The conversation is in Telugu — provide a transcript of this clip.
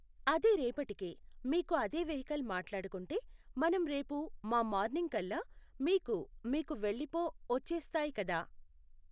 అదే రేపటికే మీకు అదే వెహికల్ మాట్లాడుకుంటే మనం రేపు మా మార్నింగ్ కల్లా మీకు మీకు వెళ్ళిపో వచ్చేస్తాయి కదా?